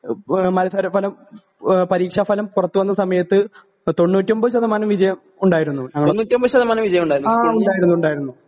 എഹ് മത്സരഫലം ആഹ് പരീക്ഷാഫലം പൊറത്തുവന്ന സമയത്ത് തൊണ്ണൂറ്റൊമ്പത് ശതമാനം വിജയം ഉണ്ടായിരുന്നു ഞങ്ങളെ ആ ഉണ്ടായിരുന്നു ഉണ്ടായിരുന്നു.